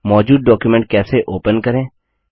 मौजूद डॉक्युमेंट कैसे ओपन करें